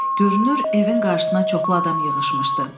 Görünür, evin qarşısına çoxlu adam yığışmışdı.